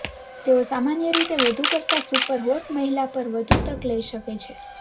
તેઓ સામાન્ય રીતે વધુ કરતા સુપર હોટ મહિલા પર વધુ તક લઈ શકે છે